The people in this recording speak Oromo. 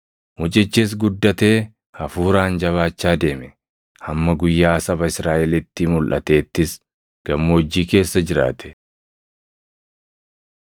Mucichis guddatee hafuuraan jabaachaa deeme; hamma guyyaa saba Israaʼelitti mulʼateettis gammoojjii keessa jiraate.